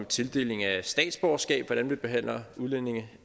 tildeling af statsborgerskab hvordan vi behandler udlændinge